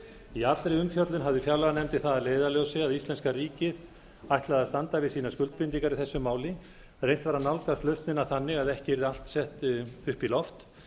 í allri umfjöllun hafði fjárlaganefnd það að leiðarljósi að að íslenska ríkið ætlaði að standa við sínar skuldbindingar í þessu máli reynt var að nálgast lausnina þannig að ekki yrði allt sett upp í loft